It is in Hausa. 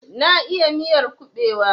Na iya miyar kubewa.